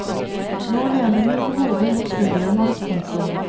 Nå lener hun hodet mot skulderen hans. punktum